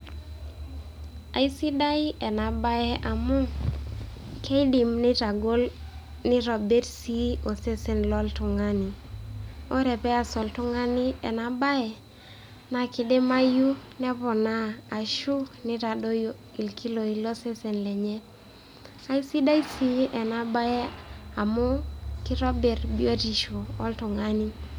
Aisidai ena baye amu kiidim nitagol, neitobirr sii osesen loltung'ani, ore pees oltung'ani ena baye naa kdimayu neponaa ashu nitadoyio ilkiloi losesen lenye. Aisidai sii ena baye amu kitobirr biotisho oltung'ani.